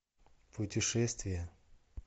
путешествия